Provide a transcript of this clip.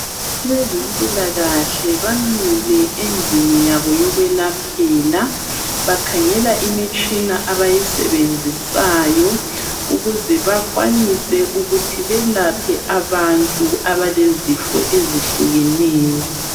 Abezempila kahle bamile endlini yabo yokwelaphela bakhangela imitshina abayisebenzisayo ukuze bakwanise ukuthi belaphe abantu abalezifo ezitshiyeneyo.